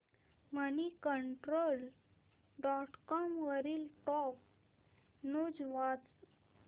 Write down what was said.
Moneycontrol dot com वरील top news वाच